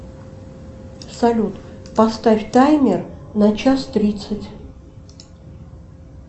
салют поставь таймер на час тридцать